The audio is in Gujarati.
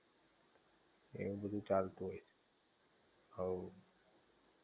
એવું બધું ચાલતુ, હવ